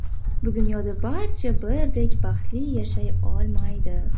Bu dunyoda barcha birdek baxtli yashay olmaydi.